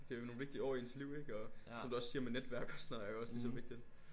Det jo nogle vigtige år i ens liv ikke og som du også siger med netværk og sådan noget er jo også lige så vigtigt